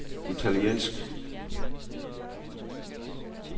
italiensk